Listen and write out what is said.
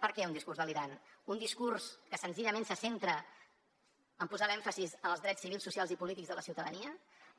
per què un discurs delirant un discurs que senzillament se centra en posar l’èmfasi en els drets civils socials i polítics de la ciutadania